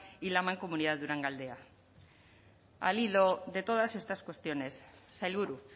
y la mancomunidad durangaldea al hilo de todas estas cuestiones sailburu